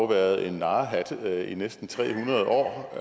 været en narrehat i næsten tre hundrede år og